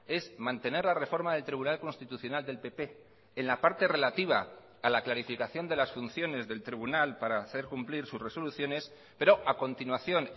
es mantener la reforma del tribunal constitucional del pp en la parte relativa a la clarificación de las funciones del tribunal para hacer cumplir sus resoluciones pero a continuación